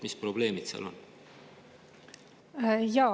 Mis probleemid seal on?